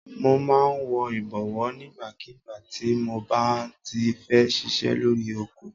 Mo máa ń wọ ìbọ̀wọ́ nígbàkígbà tí mob á ti fẹ́ ṣiṣẹ́ lórí oko.